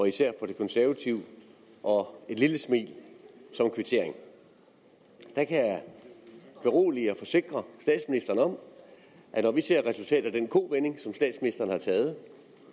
især fra de konservative og et lille smil som kvittering jeg kan berolige og forsikre statsministeren om at når vi ser resultatet af den kovending